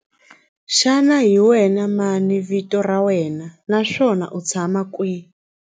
Xana hi wena mani vito ra wena naswona u tshama kwihi?